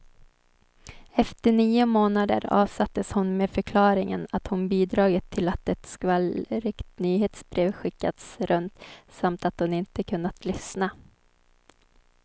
Efter nio månader avsattes hon med förklaringen att hon bidragit till att ett skvallrigt nyhetsbrev skickats runt, samt att hon inte kunnat lyssna.